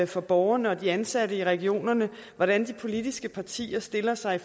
for borgerne og de ansatte i regionerne hvordan de politiske partier stiller sig